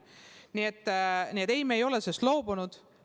Nii et ei, me ei ole loobunud.